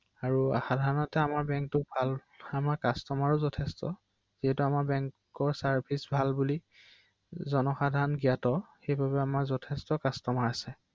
হয় দেখিছো